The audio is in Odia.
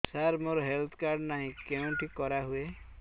ସାର ମୋର ହେଲ୍ଥ କାର୍ଡ ନାହିଁ କେଉଁଠି କରା ହୁଏ